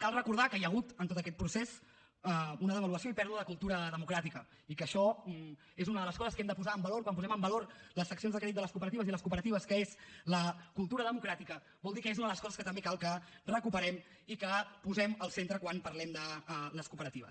cal recordar que hi ha hagut en tot aquest procés una devaluació i pèrdua de cultura democràtica i que això que és una de les coses que hem de posar en valor quan posem en valor les seccions de crèdit de les cooperatives i les cooperatives que és la cultura democràtica vol dir que és una de les coses que també cal que recuperem i que posem al centre quan parlem de les cooperatives